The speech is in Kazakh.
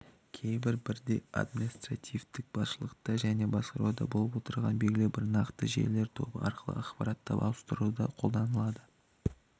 кейбір бірдей административтік басшылықта және басқаруда болып отырған белгілі бір нақты желілер тобы арқылы ақпаратты ауыстыруда қолданылады